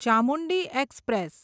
Chamundi express